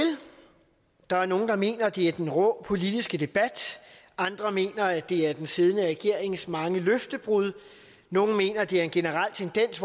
der er nogle der mener at det er den rå politiske debat andre mener at det er den siddende regerings mange løftebrud nogle mener det skyldes en generel tendens